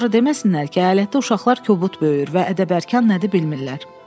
Sonra deməsinlər ki, əyalətdə uşaqlar kobud böyür və ədəbərkan nədir bilmirlər.